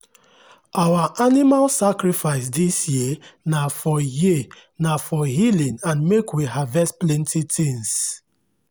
our animal sacrifice this year na for year na for healing and make we harvest plenty things